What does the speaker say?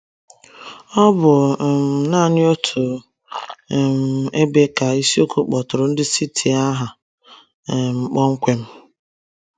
Ọ bụ um nanị n’otu um ebe ka ịsiokwu kpọtụrụ ndị Scythia aha um kpọmkwem.